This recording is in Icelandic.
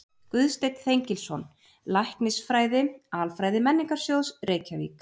Guðsteinn Þengilsson, Læknisfræði-Alfræði Menningarsjóðs, Reykjavík